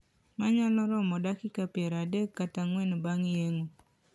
Manyalo romo dakika pier adek kata ang`wen bang` yeng`o.